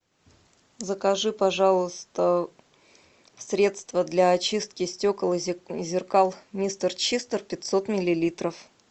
закажи пожалуйста средство для очистки стекол и зеркал мистер чистер пятьсот миллилитров